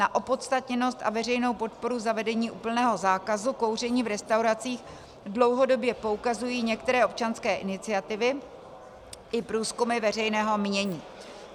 Na opodstatněnost a veřejnou podporu zavedení úplného zákazu kouření v restauracích dlouhodobě poukazují některé občanské iniciativy i průzkumy veřejného mínění.